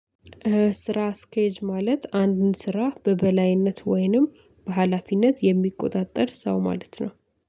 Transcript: ስራ አስኬጅ ማለት አንድን ስራ በበላይነት ወይንም በሃላፊነት የሚቆጣጠር ሰው ማለት ነው።